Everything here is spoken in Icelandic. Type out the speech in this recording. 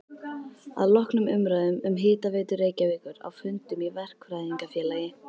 Að loknum umræðum um Hitaveitu Reykjavíkur á fundum í Verkfræðingafélagi